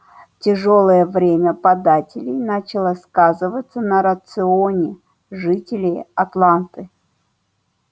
тяжёлое время податей начало сказываться на рационе жителей атланты